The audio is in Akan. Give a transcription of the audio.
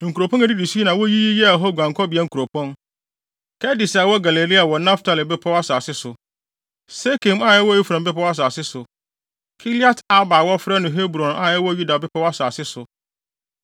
Nkuropɔn a edidi so yi na woyiyi yɛɛ hɔ guankɔbea nkuropɔn: Kedes a ɛwɔ Galilea wɔ Naftali bepɔw asase so, Sekem a ɛwɔ Efraim bepɔw asase so, Kiriat-Arba a wɔfrɛ no Hebron a ɛwɔ Yuda bepɔw asase so.